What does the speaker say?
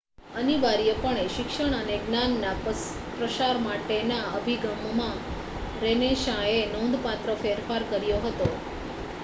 અનિવાર્યપણે શિક્ષણ અને જ્ઞાનના પ્રસાર માટેના અભિગમમાં રેનેસાંએ નોંધપાત્ર ફેરફાર કર્યો હતો